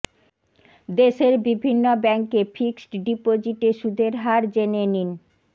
দেশের বিভিন্ন ব্যাঙ্কে ফিক্সড ডিপোজিটে সুদের হার জেনে নিন